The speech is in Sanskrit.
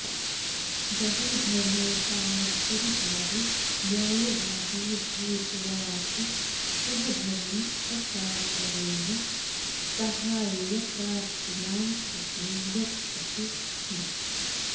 बहुधनोपार्जनकारी न्यायवादी भूत्वाऽपि सः धनं अकातरेण साहाय्यप्रार्थीनां कृते यच्छति स्म